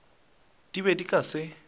di be di ka se